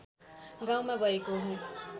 गाउँमा भएको हो